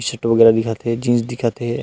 Shirt वगैरह दिखत हे जीन्स दिखत हे।